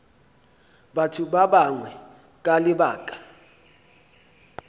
batho ba bangwe ka lebaka